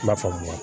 I b'a faamu